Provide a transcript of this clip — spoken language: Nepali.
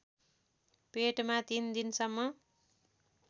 पेटमा ३ दिनसम्म